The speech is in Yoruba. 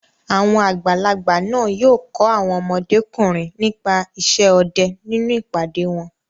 Àwọn àgbàlagbà náà yóò kọ́ àwọn ọmọdékùnrin nípa isẹ́ ọdẹ nínú ìpàdé wọn.